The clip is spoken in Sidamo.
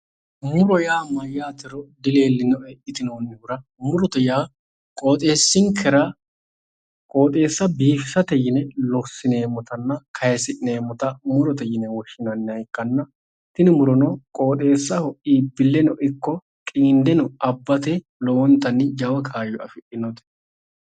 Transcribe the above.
Muro yaa mayaatero dileellinoe yitinoonnihura murote yaa qoxeessinkera qoxeessa biifisate yine lossineemmotenna kayisi'neemmota murote yine woshineemmota ikitanna tini murono qooxeessaho iibbileho ikko qiindenno Abbate lowontanni jawa kaayo afidhinnote